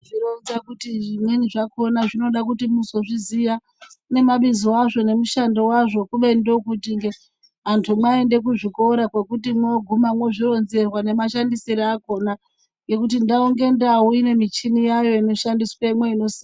Zvinoronza kuti zvimweni zvakona ndinoda kuti muzozviziya nemabizo azvo nemushando wazvo kubeni ndokuti antu mwaende kuzvikore mwogume mochironzerwa nemashandisirwo akona. Ngekuti ndau ngendau imemichini yayo inoshandiswemwo.